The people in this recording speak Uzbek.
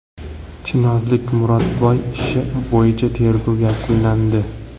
Chinozlik Murodboy ishi bo‘yicha tergov yakunlandi.